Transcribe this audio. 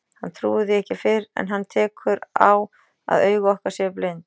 Hann trúir því ekki fyrr en hann tekur á að augu okkar séu blind.